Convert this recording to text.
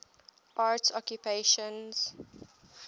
arts occupations